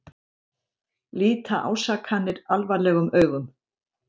Líta ásakanir alvarlegum augum